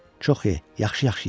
Çox ye, yaxşı-yaxşı ye.